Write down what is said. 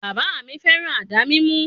Bàbà mi féràn àdá mímú.